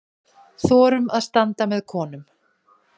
Þorum að standa með konum.